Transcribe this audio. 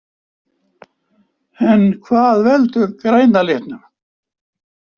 En hvað veldur græna litnum?